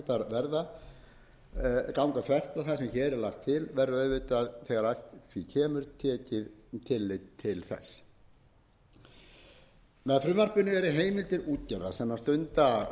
verða ganga þvert á það sem hér er lagt til verður auðvitað þegar að því kemur tekið tillit til þess með frumvarpinu eru heimildir útgerða sem stunda